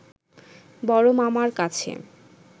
বড় মামার কাছে